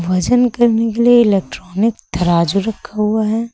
वजन करने के लिए इलेक्ट्रॉनिक तराजू रखा हुआ है।